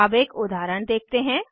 अब एक उदाहरण देखते हैं